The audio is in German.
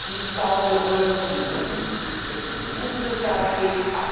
Ich glaube, wir sollten von den Russen abhängig sein, wenn es um russisches Gas